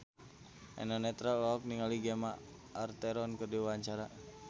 Eno Netral olohok ningali Gemma Arterton keur diwawancara